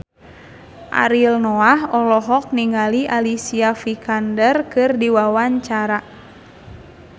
Ariel Noah olohok ningali Alicia Vikander keur diwawancara